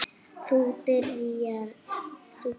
Þú byrjar.